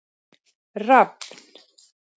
Rafn